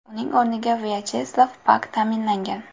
Uning o‘rniga Vyacheslav Pak tayinlangan.